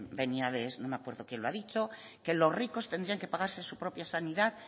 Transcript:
venía de no me acuerdo quién lo ha dicho que los ricos tendrían que pagarse su propia sanidad